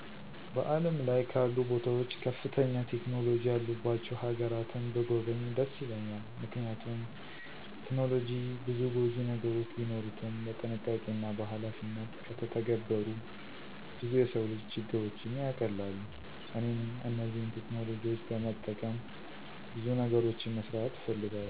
በዓለም ላይ ካሉ ቦታዎች ከፍተኛ ቴክኖሎጂ ያሉባቸው ሀገራትን ብጐበኝ ደስ ይለኛል። ምክንያቱም ቴክኖሎጂ ብዙ ጐጂ ነገሮች ቢኖሩትም በጥንቃቄና በኃላፊነት ከተተገበሩ ብዙ የሰው ልጅ ችግሮችን ያቀላሉ። እኔም እነዚህን ቴክኖሎጂዎች በመጠቀም ብዙ ነገሮችን መስራት እፈልጋለሁ።